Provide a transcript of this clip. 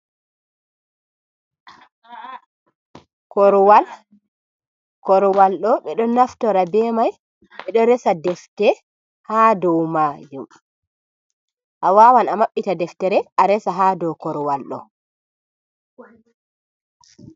Korowal do bedo naftira be mai be do resa deftere ha do majum a wawan a mabbita deftere a resa ha do korowal do.